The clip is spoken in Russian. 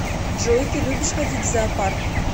джой ты любишь ходить в зоопарк